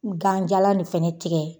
Ganjala nin fana tigɛ